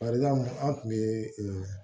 Bari an tun bɛ